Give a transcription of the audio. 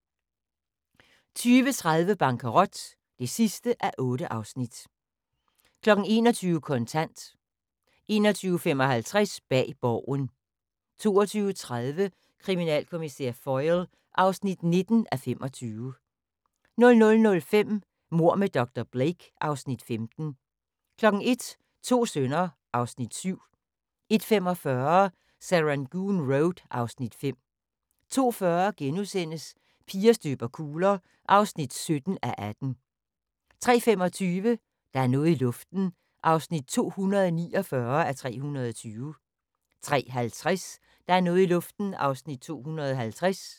20:30: Bankerot (8:8) 21:00: Kontant 21:55: Bag Borgen 22:30: Kriminalkommissær Foyle (19:25) 00:05: Mord med dr. Blake (Afs. 15) 01:00: To sønner (Afs. 7) 01:45: Serangoon Road (Afs. 5) 02:40: Piger støber kugler (17:18)* 03:25: Der er noget i luften (249:320) 03:50: Der er noget i luften (250:320)